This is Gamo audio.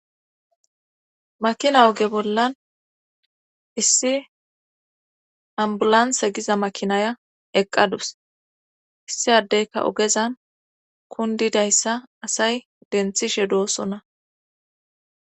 makina oge bollan issi ambulansa giza makinaya eqqadus issiadeyka ogezan kundidayssa asay denthishe doosona